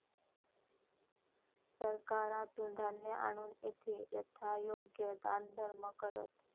सरकारातून धान्य आणून येथे यथायोग्य दानधर्म करत